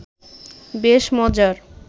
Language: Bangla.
বেশ মজার